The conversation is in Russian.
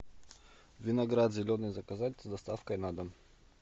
виноград зеленый заказать с доставкой на дом